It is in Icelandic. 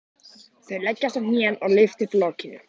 Þau leggjast á hnén og lyfta upp lokinu.